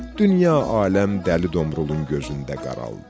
Dünya aləm Dəli Domrulun gözündə qaraldı.